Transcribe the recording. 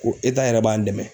Ko yɛrɛ b'an dɛmɛ